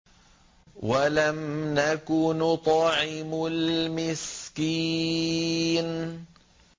وَلَمْ نَكُ نُطْعِمُ الْمِسْكِينَ